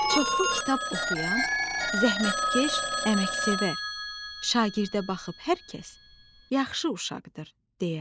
Çoxlu kitab oxuyan, zəhmətkeş, əməksevər şagirdə baxıb hər kəs: "Yaxşı uşaqdır!" deyər.